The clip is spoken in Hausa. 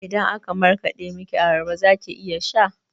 Idan aka markaɗa miki abarba zaki iya sha?